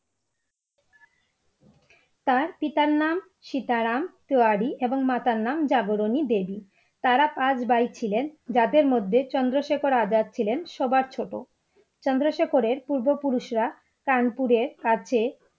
তার পিতার নাম সীতারাম তিওয়ারি এবং মাতার নাম জাগরণী দেবী, তারা পাঁচ ভাই ছিলেন যাদের মধ্যে চন্দ্রশেখর আজাদ ছিলেন সবার ছোট চন্দ্রশেখরের পূর্বপুরুষেরা কানপুরের কাছে